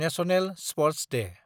national sports Day